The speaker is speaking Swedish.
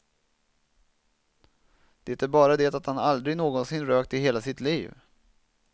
Det är bara det att han aldrig någonsin rökt i hela sitt liv.